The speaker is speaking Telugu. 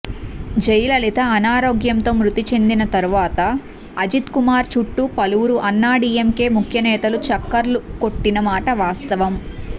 జయలలిత అనారోగ్యంతో మృతి చెందిన తర్వాత అజిత్కుమార్ చుట్టూ పలువురు అన్నాడీఎంకే ముఖ్యనేతలు చక్కర్లు కొట్టినమాట వాస్తవం